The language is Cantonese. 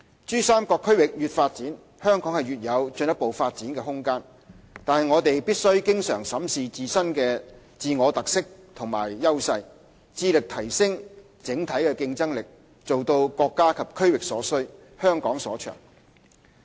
珠三角區域越發展，香港越有進一步發展的空間，但我們必須經常審視自我特色和優勢，致力提升整體競爭力，做到國家及區域所需、香港所長。